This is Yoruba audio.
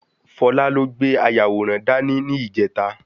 Fola ló gbé ayàwòrán dá ní, ni ìjẹta